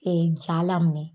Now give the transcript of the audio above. ja laminɛ